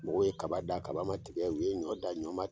Mɔgɔw ye kaba dan kaba ma tigɛ u ye ɲɔn dan ɲɔn ma